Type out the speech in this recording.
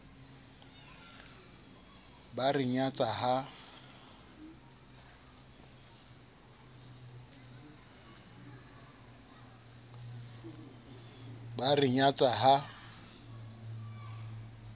ba a re nyatsa ha